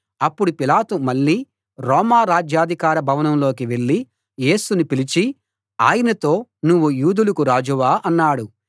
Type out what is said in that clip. అప్పుడు పిలాతు మళ్ళీ రోమా రాజ్యాధికార భవనంలోకి వెళ్ళి యేసును పిలిచి ఆయనతో నువ్వు యూదులకు రాజువా అన్నాడు